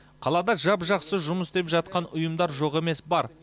қалада жап жақсы жұмыс істеп жатқан ұйымдар жоқ емес бар